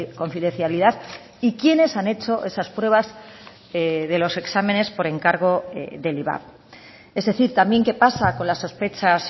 confidencialidad y quienes han hecho esas pruebas de los exámenes por encargo del ivap es decir también qué pasa con las sospechas